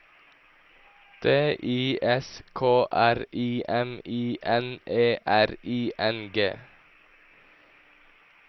D I S K R I M I N E R I N G